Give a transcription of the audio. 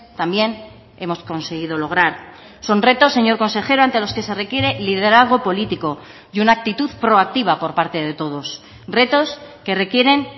también hemos conseguido lograr son retos señor consejero ante los que se requiere liderazgo político y una actitud proactiva por parte de todos retos que requieren